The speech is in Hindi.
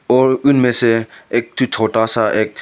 और इनमें से एक ठो छोटा सा एक--